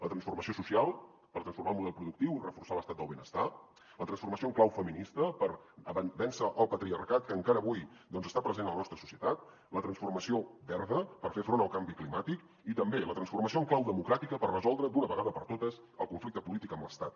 la transformació social per transformar el model productiu i reforçar l’estat del benestar la transformació en clau feminista per vèncer el patriarcat que encara avui està present a la nostra societat la transformació verda per fer front al canvi climàtic i també la transformació en clau democràtica per resoldre d’una vegada per totes el conflicte polític amb l’estat